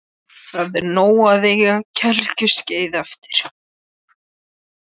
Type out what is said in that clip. Það er nóg að eiga gelgjuskeiðið eftir.